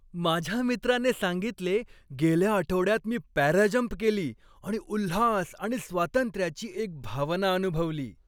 माझ्या मित्राने सांगितले, गेल्या आठवड्यात मी पॅराजंप केली आणि उल्हास आणि स्वातंत्र्याची एक भावना अनुभवली.